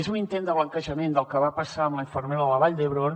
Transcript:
és un intent de blanquejament del que va passar amb la infermera de la vall d’hebron